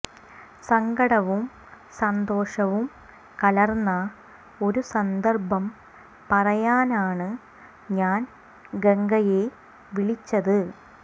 സങ്കടവും സന്തോഷവും കലർന്ന ഒരു സന്ദർഭം പറയാനാണ് ഞാൻ ഗംഗയെ വിളിച്ചത്